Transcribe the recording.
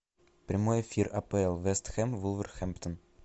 прямой эфир апл вест хэм вулверхэмптон